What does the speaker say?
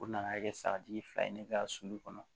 U nana kɛ sagatigi fila ye ne ka sulu kɔnɔ